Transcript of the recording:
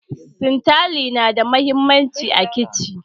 Sintali na da muhimmanci a kici